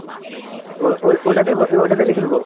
ও ওই ওটাতে ওটাতে লিখে দেবো?